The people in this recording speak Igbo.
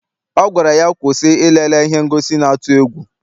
Ọ gwara ya, kwụsị ilele ihe ngosi na-atụ egwu!